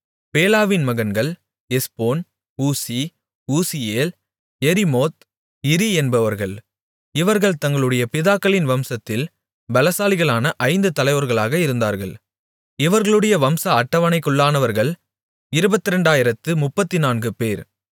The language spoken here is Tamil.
பேலாவின் மகன்கள் Ezbon Uzzi Uzziel Jerimoth Iri என்பவர்கள் இவர்கள் தங்களுடைய பிதாக்களின் வம்சத்தில் பெலசாலிகளான ஐந்து தலைவர்களாக இருந்தார்கள் இவர்களுடைய வம்ச அட்டவணைக்குள்ளானவர்கள் இருபத்திரெண்டாயிரத்து முப்பத்துநான்குபேர்